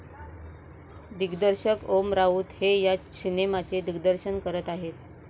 दिग्दर्शक ओम राऊत हे या सिनेमाचे दिग्दर्शन करत आहेत.